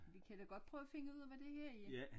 Vi kan da godt prøve at finde ud af hvad det her er